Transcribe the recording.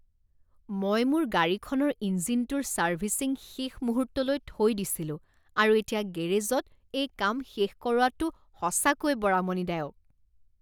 মই মোৰ গাড়ীখনৰ ইঞ্জিনটোৰ চাৰ্ভিছিং শেষ মুহূৰ্তলৈ থৈ দিছিলোঁ আৰু এতিয়া গেৰেজত এই কাম শেষ কৰোৱাটো সঁচাকৈ বৰ আমনিদায়ক।